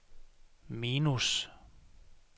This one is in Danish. minus